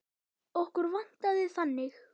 Okkur vantaði þannig.